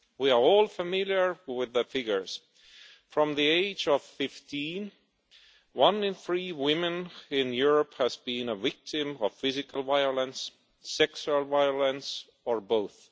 We are all familiar with the figures from the age of 15, one in three women in Europe has been a victim of physical violence, sexual violence or both